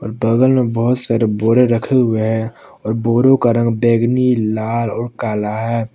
और बगल में बहुत सारे बोरे रखे हुए हैं और बोरो का रंग बैगनी लाल और काला है।